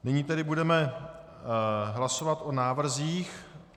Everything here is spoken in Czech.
Nyní tedy budeme hlasovat o návrzích.